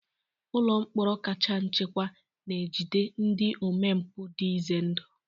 Ụlọ mkpọrọ kacha nchekwa na-ejide ndị omempụ dị ize ndụ.